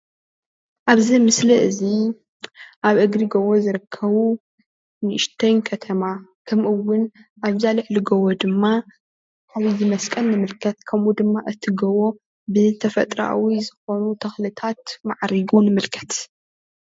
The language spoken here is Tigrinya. ኣብዚ ምስሊ እዚ ኣብ እግሪ ጎቦ ዝርከቡ ንእሽተይ ከተማ ከምእውን ኣብዛ ልዕሊ ጎቦ ድማ ከምዚ መስቀል ንምልከት ከምኡ ድማ እቲ ጎቦ ብተፈጥሮኣዊ ዝኮኑ ተክልታት ማዕሪጉ ንምልከት፡፡